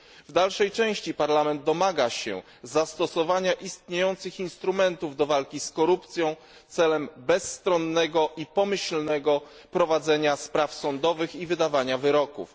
W dalszej części Parlament domaga się zastosowania istniejących instrumentów do walki z korupcją celem bezstronnego i pomyślnego prowadzenia spraw sądowych i wydawania wyroków.